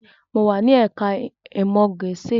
Mo wà ní ẹ̀ká ìmọ̀ Gẹ̀ẹ́sì